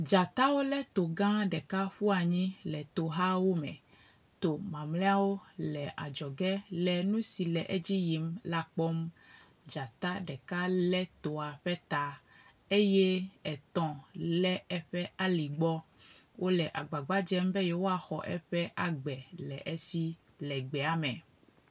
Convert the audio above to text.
Dzatawo le to gã ɖeka ƒu anyi le tohawo me. To mamleawo le adzɔge le nu si le edzi yim la kpɔm. dzata ɖeka le toa ƒe ta eye etɔ̃ le eƒe aligbɔ. Wo le agbagba dzem be yewoaxɔ eƒe agbe le esi le gbea me.